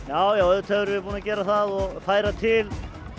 já já auðvitað erum við búin að gera það og færa til